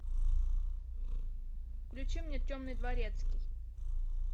включи мне темный дворецкий